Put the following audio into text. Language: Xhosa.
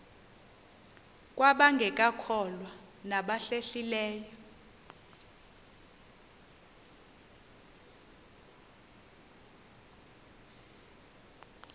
kwabangekakholwa nabahlehli leyo